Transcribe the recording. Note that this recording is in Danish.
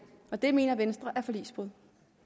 og det mener venstre er et forligsbrud